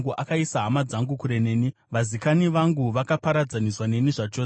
“Akaisa hama dzangu kure neni; vazikani vangu vakaparadzaniswa neni zvachose.